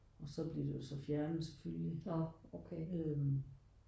Og så blev det jo så fjernet selvfølgelig øh